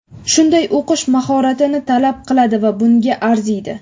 shunday o‘qish mahoratini talab qiladi va bunga arziydi.